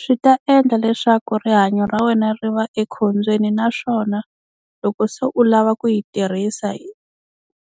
Swi ta endla leswaku rihanyo ra wena ri va ekhombyeni, naswona loko se u lava ku yi tirhisa